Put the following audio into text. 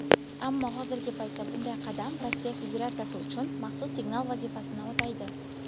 ammo hozirgi paytda bunday qadam Rossiya Federatsiyasi uchun "maxsus signal" vazifasini o‘taydi.